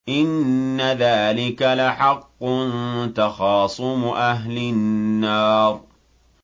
إِنَّ ذَٰلِكَ لَحَقٌّ تَخَاصُمُ أَهْلِ النَّارِ